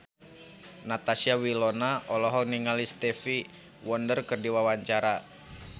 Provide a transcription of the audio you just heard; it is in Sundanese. Natasha Wilona olohok ningali Stevie Wonder keur diwawancara